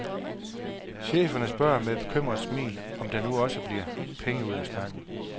Cheferne spørger med et bekymret smil , om der nu også bliver penge ud af snakken.